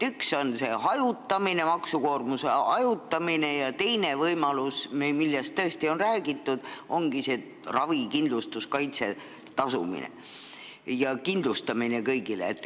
Üks samm on maksukoormuse hajutamine ja teine võimalus, millest tõesti on ka räägitud, ongi ravikindlustuskaitse tagamine kõigile.